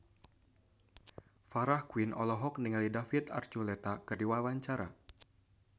Farah Quinn olohok ningali David Archuletta keur diwawancara